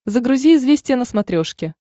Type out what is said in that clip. загрузи известия на смотрешке